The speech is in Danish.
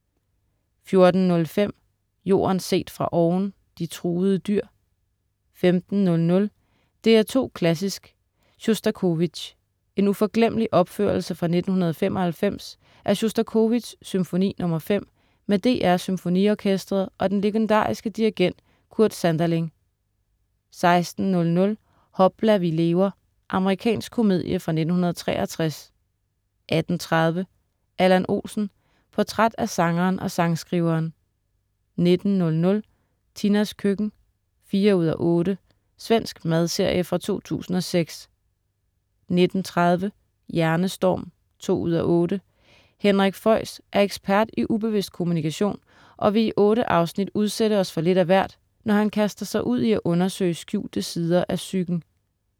14.05 Jorden set fra oven: De truede dyr 15.00 DR2 Klassisk: Sjostakovitj. En uforglemmelig opførelse fra 1995 af Sjostakovitjs Symfoni nr. 5 med DR SymfoniOrkestret og den legendariske dirigent Kurt Sanderling 16.00 Hopla, vi lever! Amerikansk komedie fra 1963 18.30 Allan Olsen. Portræt af Sangeren og sangskriveren 19.00 Tinas køkken. 4:8 Svensk madserie fra 2006 19.30 Hjernestorm 2:8. Henrik Fexeus er ekspert i ubevidst kommunikation, og vil i otte afsnit udsætte os for lidt af hvert, når han kaster sig ud i at undersøge skjulte sider af psyken